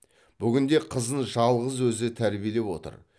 бүгінде қызын жалғыз өзі тәрбиелеп отыр